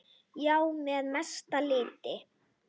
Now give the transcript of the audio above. Já, að mestu leyti.